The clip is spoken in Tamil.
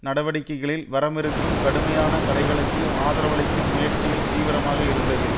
நடவடிக்கைகளில் வரவிருக்கும் கடுமையான தடைகளுக்கு ஆதரவளிக்கும் முயற்சியில் தீவிரமாக இருந்தது